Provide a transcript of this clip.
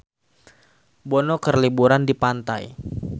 Bono keur liburan di pantai